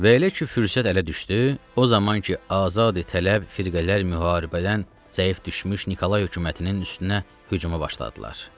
Və elə ki fürsət ələ düşdü, o zaman ki azadi tələb firqələr müharibədən zəif düşmüş Nikolay hökumətinin üstünə hücuma başladılar.